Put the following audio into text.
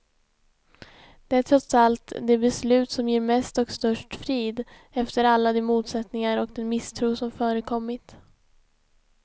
Det är trots allt det beslut som ger mest och störst frid, efter alla de motsättningar och den misstro som förekommit.